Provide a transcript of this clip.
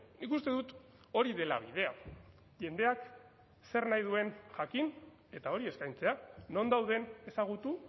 nik uste dut hori dela bidea jendeak zer nahi duen jakin eta hori eskaintzea non dauden ezagutu